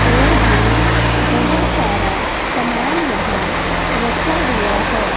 और भी बहोत सारा समान यहां रखा हुआ हैं।